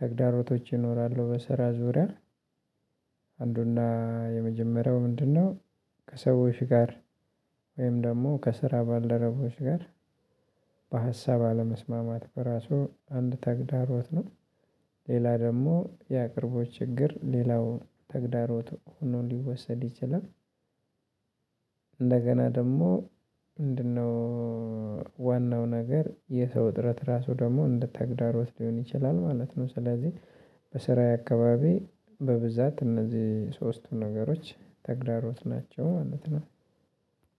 ተግዳሮቶች ይኖራሉ በስራ ዙሪያ። አንዱና የመጀመሪያው ምንድነው? ከሰዎች ጋር ወይም ደግሞ ከስራ ባልደረቦች ጋር በሀሳብ አለመስማማት በራሱ አንድ ተግዳሮት ነው። ሌላ ደግሞ የአቅርቦት ችግር ሌላው ተግዳሮት ሆኖ ሊወሰድ ይችላል። እንደገና ደግሞ ምንድነው? ዋናው ነገር የሰው እጥረት ራሱ ደግሞ እንደ ተግዳሮት ሊሆን ይችላል ማለት ነው። ስለዚህ በስራዬ አካባቢ በብዛት እነዚህ ሶስቱ ነገሮች ተግዳሮት ናቸው ማለት ነው።